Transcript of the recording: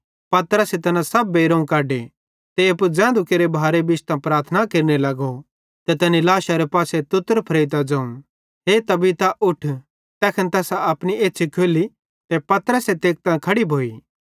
पतरसे तैना सब बेइरोवं कढे ते एप्पू ज़ैधू केरे भारे प्रार्थना केरने लगो फिरी तैनी लाशारे पासे तुत्तर फरेइतां ज़ोवं हे तबीता उठ तैखन तैसां अपनी एछ़्छ़ी खोल्ली ते पतरसे तेकतां खड़ी भोई